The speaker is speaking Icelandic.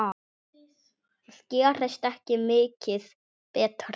Það gerist ekki mikið betra.